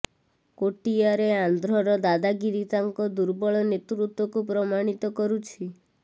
କୋଟିଆରେ ଆନ୍ଧ୍ରର ଦାଦାଗିରି ତାଙ୍କ ଦୁର୍ବଳ ନେତୃତ୍ୱକୁ ପ୍ରମାଣିତ କରୁଛି